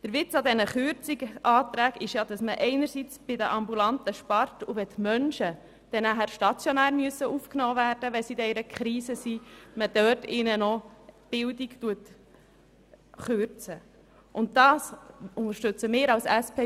Der Witz dieser Kürzungsanträge ist ja, dass man im ambulanten Bereich spart, und wenn diese Menschen dann stationär aufgenommen werden müssen, weil sie sich in einer Krise befinden, kürzt man ihnen dort die Bildung.